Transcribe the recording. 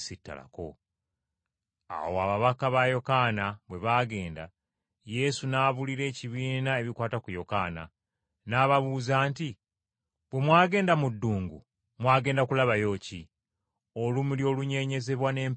Awo ababaka ba Yokaana bwe baagenda, Yesu n’abuulira ekibiina ebikwata ku Yokaana. N’ababuuza nti, “Bwe mwagenda mu ddungu, mwagenderera kulaba ki? Olumuli olunyeenyezebwa n’empewo?